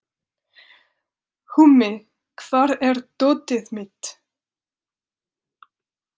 Húmi, hvar er dótið mitt?